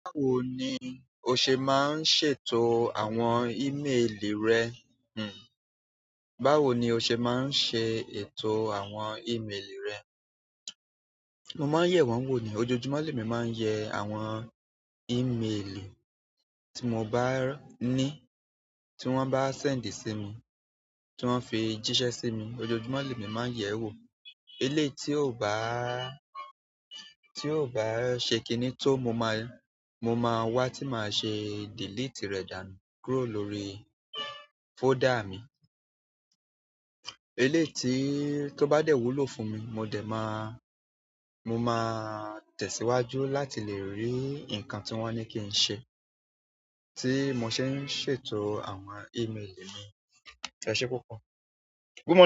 Báwo ni o ṣe máa ń ṣètò àwọn ímeèlì rẹ? Báwo ni o ṣe máa ń ṣe ètò àwọn ímeèlì rẹ? Mo máa ń yẹ̀ wọ́n wò ni. Ojojumo le mí máa yẹ àwọn ímeèlì ti mo bá ni, ti wọn bá send simi, ti wọn fi jisẹ simi ojoojúmọ́ lẹ́mi máa ń yẹ̀ ẹ́ wò. Eléyìí tí ò bá, tí ò bá ṣe kìní tó, mo máa, mo máa wá tí màá ṣe delete rẹ̀ dànù kúrò lórí folder mi. Eléyìí tí ó bá dẹ̀ wúlò fún mi, mo dẹ̀ máa, mo máa tẹ̀síwájú láti lè rí nǹkan tí wọ́n ní kí n ṣe, tí mo ṣe ń ṣètò àwọn ímeèlì mi. Éṣẹ́ púpọ̀?